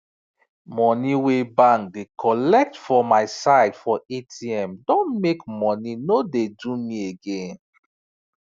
money wey bank da colet for myside for atm don make money no da do me again